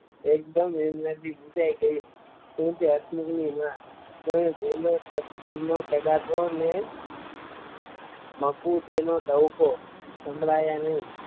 એક દમ એમનાં થી પૂછાય ગયું કેમ છો હસમુખ ની માં તમે બોલો તો સંભળાયા નઈ.